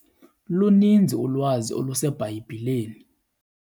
Luninzi ulwazi oluseBhayibhileni.